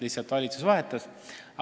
Lihtsalt valitsus vahetus.